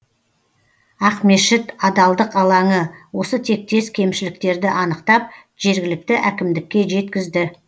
ақмешіт адалдық алаңы осы тектес кемшіліктерді анықтап жергілікті әкімдікке жеткізді